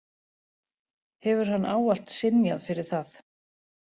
Hefur hann ávallt synjað fyrir það